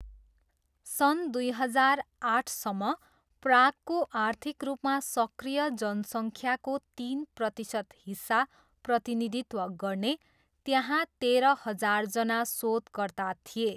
सन् दुई हजार आठसम्म, प्रागको आर्थिक रूपमा सक्रिय जनसङ्ख्याको तिन प्रतिशत हिस्सा प्रतिनिधित्व गर्ने, त्यहाँ तेह्र हजारजना शोधकर्ता थिए।